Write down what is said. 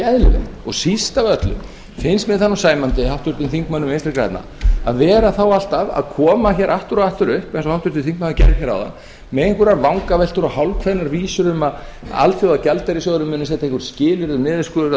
eðlilegt og síst af öllu finnst mér það nú sæmandi háttvirtum þingmönnum vinstri grænna að vera þá alltaf að koma hér aftur og aftur upp eins og háttvirtur þingmaður gerði hér áðan með einhverjar vangaveltur og hálfkveðnar vísur um að alþjóðagjaldeyrissjóðurinn muni setja einhver skilyrði um niðurskurð